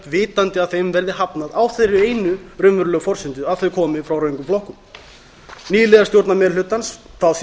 vitandi að þeim verði hafnað á þeirri einu raunverulegu forsendu að þau komi frá röngum flokkum nýliðar stjórnarmeirihlutans fá síðan eitt